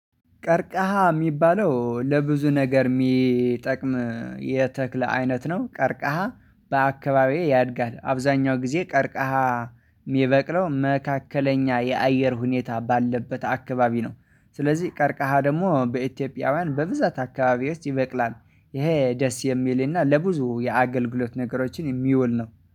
ቀርቃሃ የሚባለው ለብዙ ነገር የሚጠቅም የተክል አይነት ነው። ቀርቃሃ በአከባቢዬ ያድጋል። አብዛኛው ጊዜ ቀርቃሃ ሚበቅለው መካከለኛ የአየር ሁኔታ ባለበት አከባቢ ነው። ስለዚህ ቀርቀሃ ደግሞ በኢትዮጵያውያን በብዛት አከባቢ ውስጥ ይበቅላል። ይሄ ደስ የሚልና ለብዙ የአገልግሎት ነገሮችን የሚውል ነው።